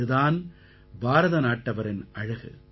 இது தான் பாரத நாட்டவரின் அழகு